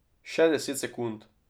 Še deset sekund.